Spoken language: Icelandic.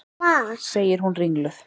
segir hún ringluð.